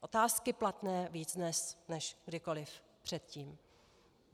Otázky platné víc dnes než kdykoliv předtím.